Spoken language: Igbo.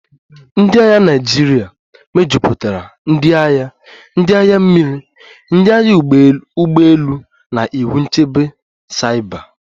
cNdị agha Naịjirịa mejupụtara ndị agha, ndị agha mmiri, ndị agha ụgbọ elu na iwu nchebe saiba